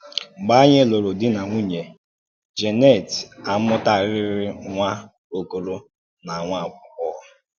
Mgbe ànyì lụrụ̀ dì na nwúnye, Jeanette àmùtàràrị̀ nwá ọ̀kòrò na nwá àgbọ̀ghọ̀.